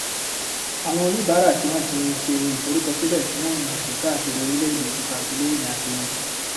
àwọn oníbàárà tí wọn ti ṣe ìfọrúkọsílẹ fún ìrìnàjò káàkiri orílẹèdè ti fàgílé ìrìnàjò wọn